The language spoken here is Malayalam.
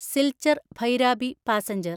സിൽച്ചർ ഭൈരാബി പാസഞ്ചർ